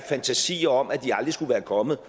fantasier om at de aldrig skulle være kommet